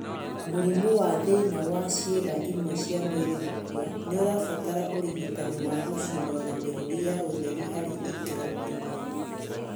Mũrimũ wa thĩna wa ciĩga imwe cia mwĩrĩ gũkua nĩarabatara ũrigitani wa gũcinwo na mĩrũri ya ũtheri harĩ ikĩro imwe